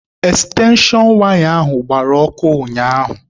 Ekstenshon waya ahụ gbara ọkụ ụnyaahụ.